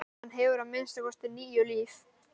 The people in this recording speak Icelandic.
Hann hefur að minnsta kosti níu líf.